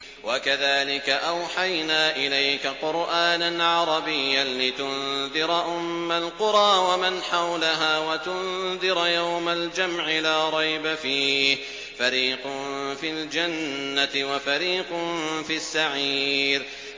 وَكَذَٰلِكَ أَوْحَيْنَا إِلَيْكَ قُرْآنًا عَرَبِيًّا لِّتُنذِرَ أُمَّ الْقُرَىٰ وَمَنْ حَوْلَهَا وَتُنذِرَ يَوْمَ الْجَمْعِ لَا رَيْبَ فِيهِ ۚ فَرِيقٌ فِي الْجَنَّةِ وَفَرِيقٌ فِي السَّعِيرِ